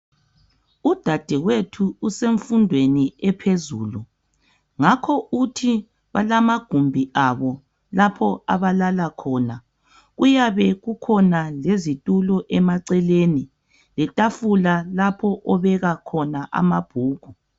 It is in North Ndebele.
Udadewethu usemfundweni ephezulu ngakho uthi balamagumbi abo lapha abalala khona. Kuyabe kukhona izitulo emaceleni letafula lapho obeka khona amabhuku.